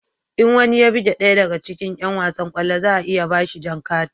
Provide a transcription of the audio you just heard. In wani ya buge ɗaya daga cikin yan wasan kwallo za a iya ba shi jan kati